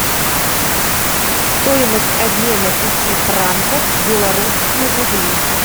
стоимость обмена пяти франков в белорусские рубли